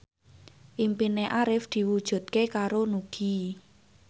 impine Arif diwujudke karo Nugie